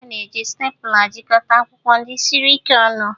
A na-eji stapler jikọta akwụkwọ ndị siri ike ọnụ